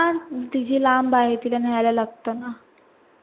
हा तीझी लांब आहे तिला न्हयला लागत ना